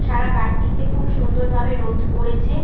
সারা বাড়িটিতে খুব সুন্দর ভাবে রোদ পড়েছে ।